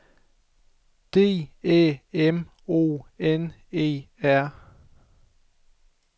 D Æ M O N E R